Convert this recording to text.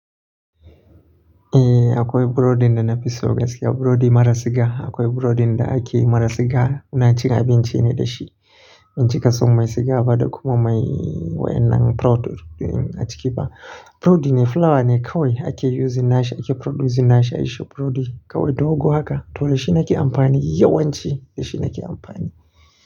Eh akwai burodi da na fi so gaskiya, burodi maras siga. Akwai burodi da ake yi maras siga muna cin abinci ne da shi. Bincika sau mai siga ba da kuma mai wayan nan product a ciki ba. Burodi ne, flour ne kawai ake use nashi ake producing nashi. Shi burodi kawai dogo haka toh da shi nake amfani yawanci da shi nake amfani.